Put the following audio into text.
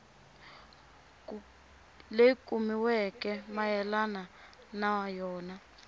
leyi kumiweke mayelana na yona